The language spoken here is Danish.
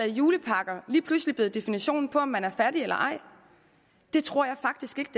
julepakker lige pludselig blevet definitionen på om man er fattig eller ej det tror jeg faktisk ikke